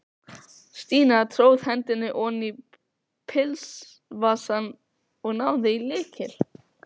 Stína tróð hendinni oní pilsvasann og náði í lykil.